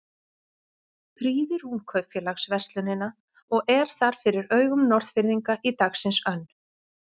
Prýðir hún kaupfélagsverslunina og er þar fyrir augum Norðfirðinga í dagsins önn.